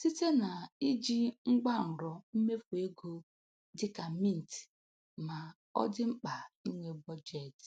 site na iji ngwanrọ mmefu ego dị ka Mint ma ọ dị Mkpa inwe Budget.